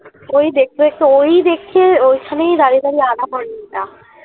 ওই দেখতে দেখতে ওই দেখে ওই খানেই দাড়িয়ে দাঁড়িয়ে আধাঘন্টা